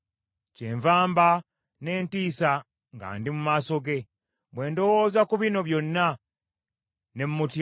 Kyenva mba n’entiisa nga ndi mu maaso ge; bwe ndowooza ku bino byonna, ne mmutya.